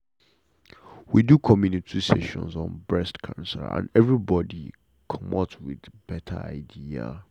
we do community session on breast cancer and everybody commot with better idea.